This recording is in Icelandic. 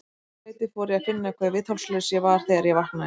Um þetta leyti fór ég að finna hve viðþolslaus ég var þegar ég vaknaði.